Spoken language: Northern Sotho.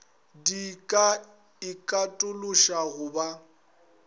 di ka ikatološa go ba